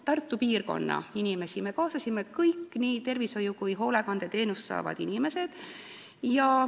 Tartu piirkonna inimesed me kaasasime kõik, nii tervishoiu- kui ka hoolekandeteenust saavad inimesed.